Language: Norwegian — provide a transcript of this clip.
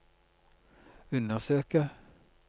undersøke